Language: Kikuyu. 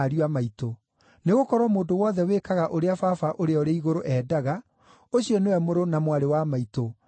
Nĩgũkorwo mũndũ wothe wĩkaga ũrĩa Baba ũrĩa ũrĩ igũrũ endaga, ũcio nĩwe mũrũ na mwarĩ wa maitũ, na nĩ we maitũ.”